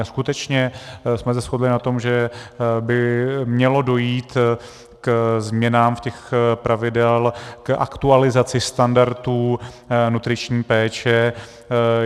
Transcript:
A skutečně jsme se shodli na tom, že by mělo dojít k změnám těch pravidel, k aktualizaci standardů nutriční péče.